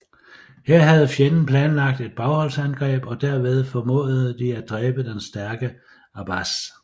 Her havde fjenden planlagt et bagholdsangreb og derved formåede de at dræbe den stærke Abbas